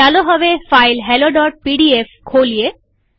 ચાલો હવે ફાઈલ helloપીડીએફ ખોલીએ